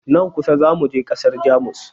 Nan kusa za mu je ƙasar Jamus.